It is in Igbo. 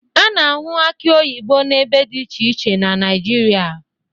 A na-ahụ akị oyibo n'ebe dị iche iche na Naịjirịa